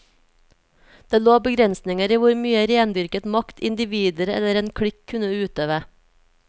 Det lå begrensninger i hvor mye rendyrket makt individer eller en klikk kunne utøve.